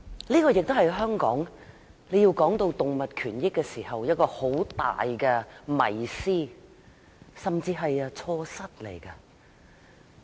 這亦是在香港談及動物權益時一個很大的迷思，甚至是錯失。